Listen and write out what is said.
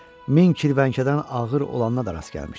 Min kirvənkədən ağır olana da rast gəlmişdi.